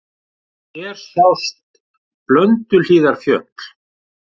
Hér sjást Blönduhlíðarfjöll.